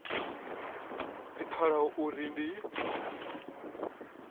dzi pfalaho dza uri ndi